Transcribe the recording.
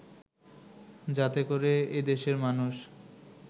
যাতে করে এদেশের মানুষ